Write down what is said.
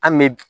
An bɛ